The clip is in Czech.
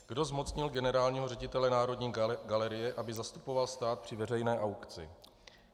Kdo zmocnil generálního ředitele Národní galerie, aby zastupoval stát při veřejné aukci?